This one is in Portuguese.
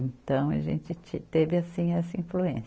Então, a gente ti, teve assim essa influência.